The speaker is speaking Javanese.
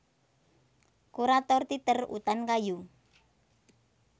Kurator Teater Utan Kayu